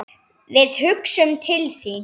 Við hugsum til þín.